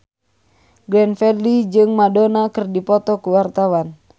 Glenn Fredly jeung Madonna keur dipoto ku wartawan